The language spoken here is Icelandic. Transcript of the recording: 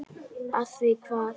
Af því hvað?